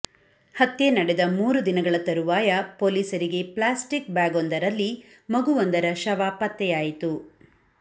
ಹತ್ಯೆ ನಡೆದ ಮೂರು ದಿನಗಳ ತರುವಾಯ ಪೊಲೀಸರಿಗೆ ಪ್ಲಾಸ್ಟಿಕ್ ಬ್ಯಾಗ್ವೊಂದರಲ್ಲಿ ಮಗುವೊಂದರ ಶವ ಪತ್ತೆಯಾಯಿತು